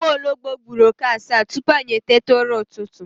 Nwologbo gburu oke asaa tupu anyị eteta ụra ụtụtụ